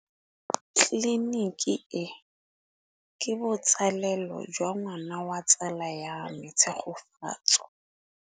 Tleliniki e, ke botsalêlô jwa ngwana wa tsala ya me Tshegofatso.